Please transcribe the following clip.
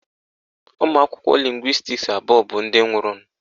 Ụmụakwụkwọ lịngwịstis abụọ bụ ndị nwụrụnụ.